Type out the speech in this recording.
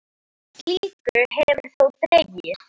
Úr slíku hefur þó dregið.